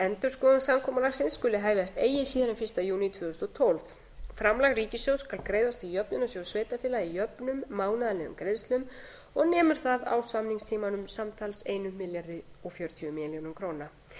endurskoðun samkomulagsins skuli hefjast eigi síðar en fyrsta júní tvö þúsund og tólf framlag ríkissjóðs skal greiðast til jöfnunarsjóðs sveitarfélaga í jöfnum mánaðarlegum greiðslum og nemur það á samningstímanum samtals þúsund fjörutíu milljónir króna